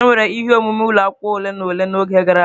Enwere ihe omume ụlọ akwụkwọ ole na ole n'oge gara aga.